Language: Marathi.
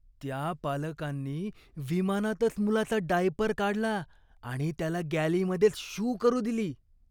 त्या पालकांनी विमानातच मुलाचा डायपर काढला आणि त्याला गॅलीमध्येच शू करू दिली.